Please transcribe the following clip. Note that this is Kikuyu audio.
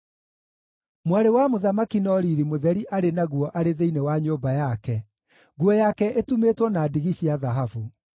Mwarĩ wa mũthamaki no riiri mũtheri arĩ naguo arĩ thĩinĩ wa nyũmba yake, nguo yake ĩtumĩtwo na ndigi cia thahabu.